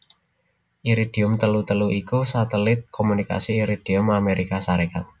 Iridium telu telu iku satelit komunikasi Iridium Amérika Sarékat